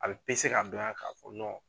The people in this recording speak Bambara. A be ka bila ka fɔ nɔn